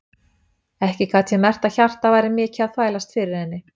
Ekki gat ég merkt að hjartað væri mikið að þvælast fyrir henni.